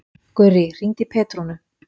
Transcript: Gurrí, hringdu í Petrúnu.